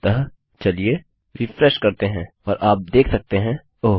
अतःचलिए रिफ्रेशकरते हैं और आप देख सकते हैं ओह